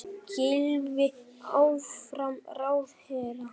Gylfi áfram ráðherra